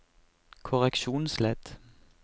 korreksjonsledd